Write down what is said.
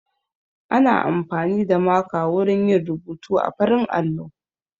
Ana amfani da maka wurin yin rubuta a farin allo